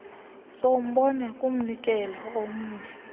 sombane kumnikelo womnye